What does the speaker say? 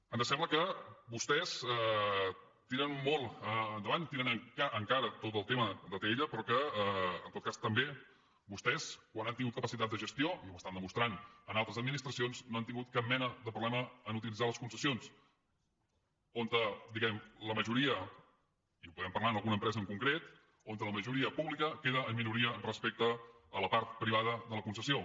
ens sembla que vostès tiren molt endavant tiren en cara tot el tema d’atll però que en tot cas també vostès quan han tingut capacitat de gestió i ho estan demostrant en altres administracions no han tingut cap mena de problema en utilitzar les concessions on diguem ne la majoria i ho podem parlar en alguna empresa en concret on la majoria pública queda en minoria respecte a la part privada de la concessió